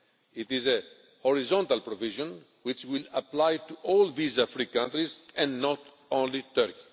It is a horizontal provision which will apply to all visa free countries and not only Turkey.